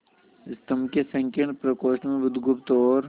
स्तंभ के संकीर्ण प्रकोष्ठ में बुधगुप्त और